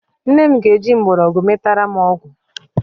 Nne m ga-eji mgbọrọgwụ metara m ọgwụ